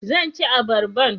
Zan cinye abarban